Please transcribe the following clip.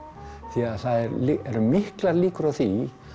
því að það eru miklar líkur á því